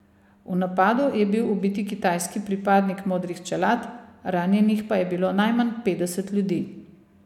V napadu je bil ubiti kitajski pripadnik modrih čelad, ranjenih pa je bilo najmanj petdeset ljudi.